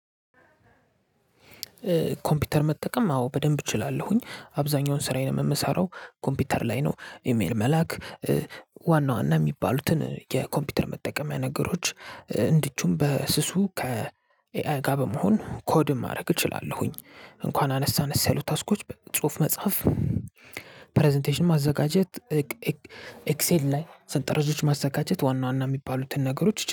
ኮምፒውተር መጠቀም አዎ በደንብ እችላለሁኝ አብዛኛውን ስራዬን የምሰራው ኮምፒውተር ላይ ነው ኢሜል መላክ ዋና ዋና የሚባሉትን የኮምፒውተር መጠቀሚያ ነገሮች። እንዲሁም በስሱ ከኤአይ ጋር በመሆን ኮድም ማድረግ እችላለሁኝ። እንኳን አነስ አነስ ያሉት ታስኮች በጽሁፍ መጽሐፍ ፕረዘንቴሽን ማዘጋጀት። ኤክሴል ላይ ሰንጠረዦች ማዘጋጀት ዋና ዋና የሚባሉትን ነገሮች